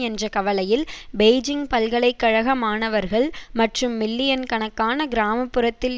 என்ற கவலையில் பெய்ஜிங் பல்கலை கழக மாணவர்கள் மற்றும் மில்லியன் கணக்கான கிராமப்புறத்தில்